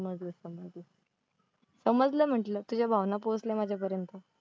समजलं म्हंटलं, तुझ्या भावना पोचल्या माझ्यापर्यंत.